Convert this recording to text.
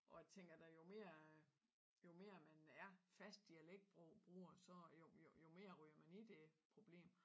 Og jeg tænker da jo mere at jo mere man er fast dialektbruger så jo jo mere ryger man i det problem